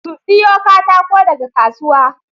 Su siyo katakon daga kasuwa